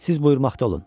Siz buyurmaqda olun.